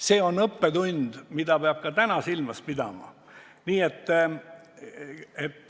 See on õppetund, mida peab ka täna silmas pidama.